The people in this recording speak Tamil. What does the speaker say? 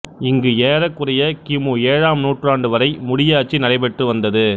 இங்கு ஏறக்குறைய கி மு ஏழாம் நூற்றாண்டுவரை முடியாட்சி நடைபெற்றுவந்தது